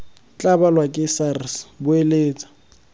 tla balwa ke sars boeletsa